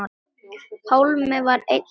Pálmi var einn þeirra.